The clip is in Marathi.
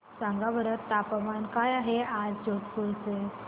सांगा बरं तापमान काय आहे आज जोधपुर चे